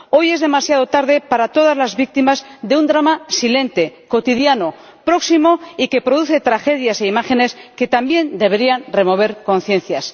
Hoy es demasiado tarde para todas las víctimas de un drama silente, cotidiano, próximo, y que produce tragedias e imágenes que también deberían remover conciencias.